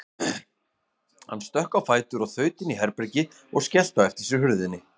Hann stökk á fætur og þaut inn í herbergi og skellti á eftir sér hurðinni.